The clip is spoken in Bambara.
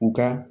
U ka